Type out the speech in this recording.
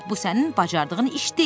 Ancaq bu sənin bacardığın iş deyil.